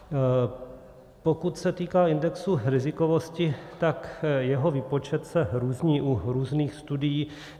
Pokud se týká indexu rizikovosti, tak jeho výpočet se různí u různých studií.